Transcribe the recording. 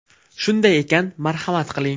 Shunday ekan, marhamat qiling!